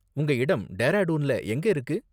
உங்க இடம் டேராடூன்ல எங்க இருக்கு?